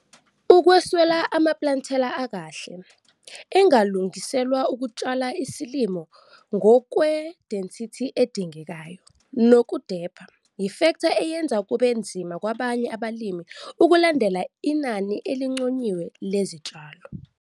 Ukweswela amaplantela akahle, engalungiselwa ukutshala isilimo ngokwe-density edingekayo nokudepha, yifektha eyenza kube nzima kwabanye abalimi ukulandela inani elinconyiwe lezitshalo.